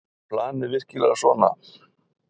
Var planið virkilega svona?